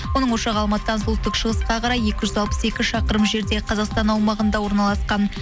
оның ошағы алматыдан солтүстік шығысқа қарай екі жүз алпыс екі шақырым жерде қазақстан аумағында орналасқан